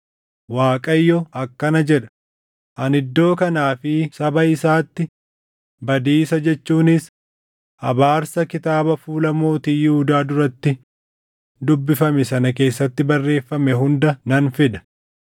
‘ Waaqayyo akkana jedha: Ani iddoo kanaa fi saba isaatti badiisa jechuunis abaarsa kitaaba fuula mootii Yihuudaa duratti dubbifame sana keessatti barreeffame hunda nan fida.